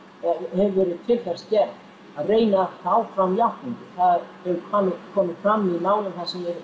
hefur verið til þess gerð að reyna að fá fram játningu það hefur komið fram í málum sem ég hef